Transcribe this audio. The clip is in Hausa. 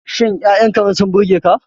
Shin Ya'yan Karen sun burge ka?